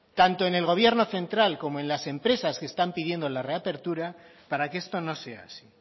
tanto en el gobierno central como en las empresas que están pidiendo la reapertura para que esto no sea así